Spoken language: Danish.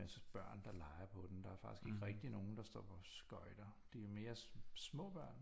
Masse børn der leger på den der er faktisk ikke rigtig nogen der står på skøjter det er mere små børn